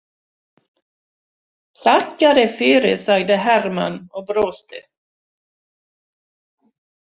Þakka þér fyrir, sagði Hermann og brosti.